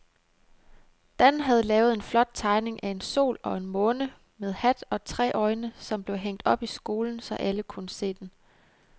Dan havde lavet en flot tegning af en sol og en måne med hat og tre øjne, som blev hængt op i skolen, så alle kunne se den.